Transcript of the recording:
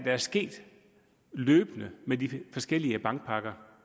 er sket løbende med de forskellige bankpakker